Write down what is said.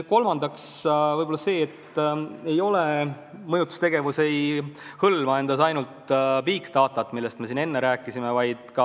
Kolmandaks, mõjutustegevus ei hõlma ainult big data't, millest siin enne räägiti.